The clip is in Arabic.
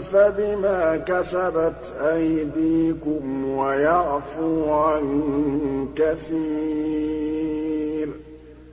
فَبِمَا كَسَبَتْ أَيْدِيكُمْ وَيَعْفُو عَن كَثِيرٍ